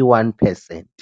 i-one percent.